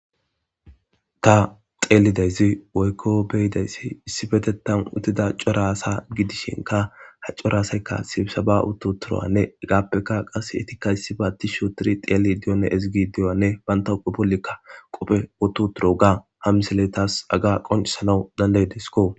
ta xeelidayzi woykko beyidayssi issi betetan utida coraasa gidishinka ha coraasaykka sibisaba uto turowanne egaappeka qas etikayssi ba disho tiri xeeli diyone ezigi diyyanne banta upe bollikka qophe oto turo ga hamsile taas aga qoncisana dandaydeskko